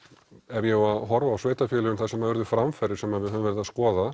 ef ég á horfa á sveitarfélögin þar sem urðu framfarir sem við höfum verið að skoða